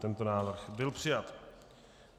Tento návrh byl přijat.